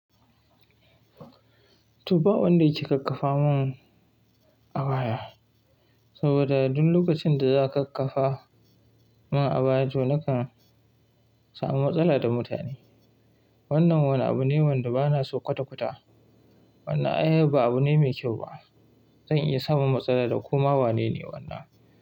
To ba wanda yake kakkafa mun abaya, saboda duk lokacin da za a kakkafa mun abaya to nakan samu matsala da mutane. Wannan wani abu ne wanda bana so kwata-kwata. Wannan ai ba abu ne mai kyau ba. Zan iya samun matsala da kuma wane ne wannan.